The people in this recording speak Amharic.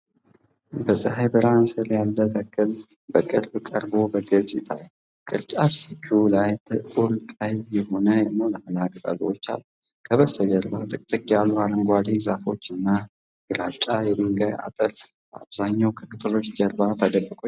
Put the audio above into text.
በፀሐይ ብርሃን ስር ያለ ተክል በቅርብ ቀርቦ በግልጽ ይታያል። ቅርንጫፎቹ ላይ ጥቁር ቀይ የሆኑ ሞላላ ቅጠሎች አሉ። ከበስተጀርባ ጥቅጥቅ ያሉ አረንጓዴ ዛፎች እና ግራጫ የድንጋይ አጥር በአብዛኛው ከቅጠሎቹ ጀርባ ተደብቀው ይገኛሉ።